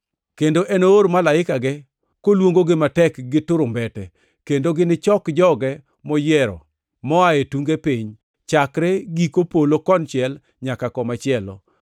Kendo enoor malaikege, koluongogi matek gi turumbete, kendo ginichok joge moyiero moa e tunge piny, chakre giko polo konchiel nyaka komachielo.